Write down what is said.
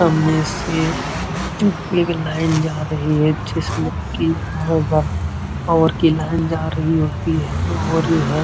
सामने से एक लाइन जा रही है। जिसमे कि हर और की लाइन जा रही होती है और ये है।